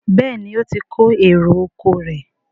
Béèni o tí kò èrò ọkọ̀ rẹ.